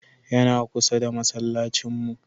Yana kusa da masallacin mu.